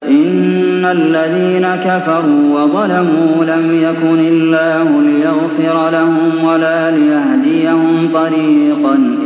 إِنَّ الَّذِينَ كَفَرُوا وَظَلَمُوا لَمْ يَكُنِ اللَّهُ لِيَغْفِرَ لَهُمْ وَلَا لِيَهْدِيَهُمْ طَرِيقًا